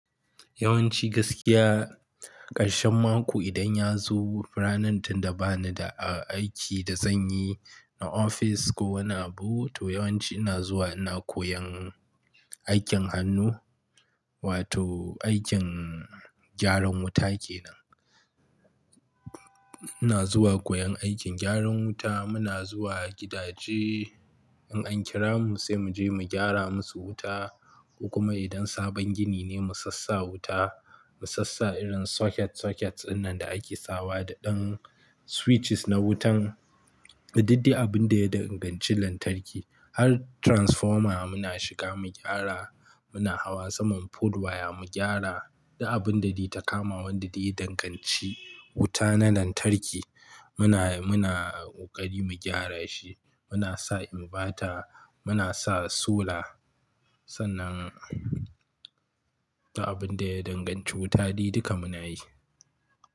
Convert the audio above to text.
Yawanci gaskiya ƙarshen mako idan ya zo ranar tunda ba ni da aiki da zan yi na ofis ko wani abu to yawanci ina zuwa ina koyan aikin hannu wato aikin gyaran wuta kenan. Ina zuwa koyan aikin gyaran wuta muna zuwa gidaje in an kira mu sai mu je mu gyara musu wuta ko kuma idan sabon gini ne mu sassaa wuta mu sassaa irin socket-socketd dinnan da ake sawa da ɗan switches na wutan da duk dai abin da ya danganci lantarki har transformer muna shiga mu gyara muna hawa saman polewaya mu gyara duk abun da dai ta kama wanda dai ya danganci wuta na lantarki muna, muna ƙokai mu gyara shi muna sa inverter muna sa solar sannan duk abin da ya danganci wuta dai duka muna yi.